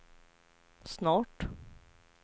snart